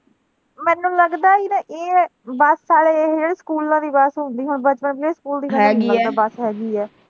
ਮੈਨੂੰ ਲਗਦਾ ਅਸੀਂ ਨਾ ਇਹ bus ਆਲੇ ਜਿਹੜੇ ਸਕੂਲਾਂ ਦੀ bus ਹੁੰਦੀ ਹੈਗੀ ਹੈ।